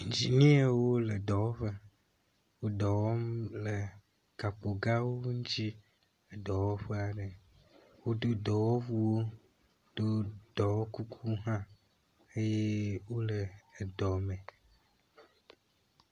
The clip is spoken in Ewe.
Iginiawo le dɔwɔƒe. Wo dɔwɔm le gakpo gãwo ŋuti. Eɖewo ƒe ɖe woɖi dɔwɔwu, ɖo dɔwɔkukuwo hã eye wole edɔ me.